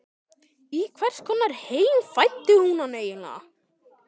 Í hvers konar heim fæddi hún hann eiginlega?